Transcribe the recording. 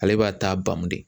Ale b'a ta bamu de.